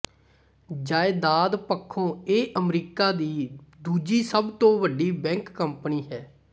ਜਾਇਦਾਦ ਪੱਖੋਂ ਇਹ ਅਮਰੀਕਾ ਦੀ ਦੂਜੀ ਸਭ ਤੋਂ ਵੱਡੀ ਬੈਂਕ ਕੰਪਨੀ ਹੈ